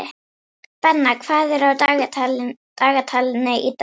Benna, hvað er á dagatalinu í dag?